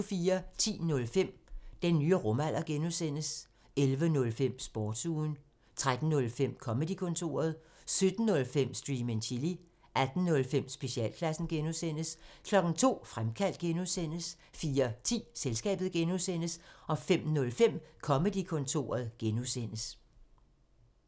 10:05: Den nye rumalder (G) 11:05: Sportsugen 13:05: Comedy-kontoret 17:05: Stream and chill 18:05: Specialklassen (G) 02:00: Fremkaldt (G) 04:10: Selskabet (G) 05:05: Comedy-kontoret (G) (tor)